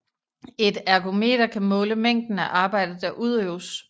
Et ergometer kan måle mængden af arbejde der udøves